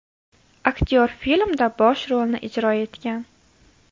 Aktyor filmda bosh rolni ijro etgan.